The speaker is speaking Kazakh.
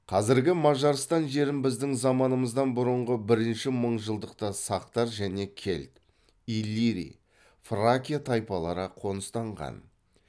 қазіргі мажарстан жерін біздің заманымыздан бұрынғы бір мыңжылдықта сақтар және келт иллирий фракия тайпалары қоныстанған